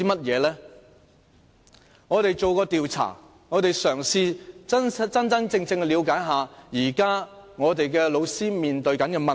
我們曾經進行調查，嘗試真正了解現時老師面對的問題。